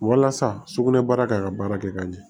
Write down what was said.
Walasa sugunɛbara ka baara kɛ ka ɲɛ